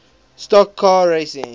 stock car racing